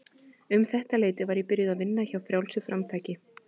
Um þetta leyti var ég byrjuð að vinna hjá Frjálsu framtaki.